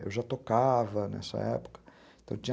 Eu já tocava nessa época. Então tinha